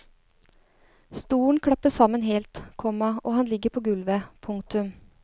Stolen klapper sammen helt, komma og han ligger på gulvet. punktum